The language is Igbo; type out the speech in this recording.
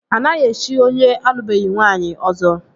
Anaghị echi onye alụbeghi nwaanyị Ọzọ